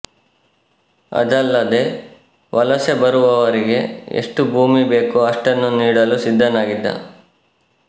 ಅದಲ್ಲದೇ ವಲಸೆ ಬರುವವರಿಗೆ ಎಷ್ಟು ಭೂಮಿ ಬೇಕೋ ಅಷ್ಟನ್ನು ನೀಡಲು ಸಿದ್ದನಾಗಿದ್ದ